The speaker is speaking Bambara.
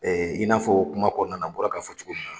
i n'a fɔ kuma kɔnɔna na n bɔra k'a fɔ cogo min na.